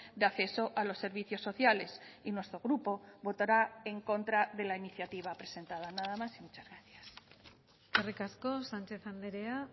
de acceso a los servicios sociales y nuestro grupo votará en contra de la iniciativa presentada nada más y muchas gracias eskerrik asko sánchez andrea